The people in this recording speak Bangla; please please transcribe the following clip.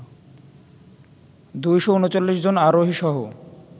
২৩৯ জন আরোহী সহ